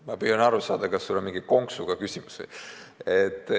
Ma püüan aru saada, kas see on mingi konksuga küsimus.